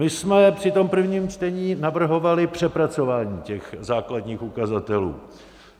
My jsme při tom prvním čtení navrhovali přepracování těch základních ukazatelů.